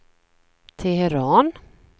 Teheran